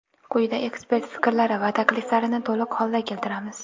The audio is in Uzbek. Quyida ekspert fikrlari va takliflarini to‘liq holda keltiramiz.